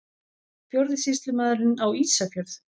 Fjórði sýslumaðurinn á Ísafjörð!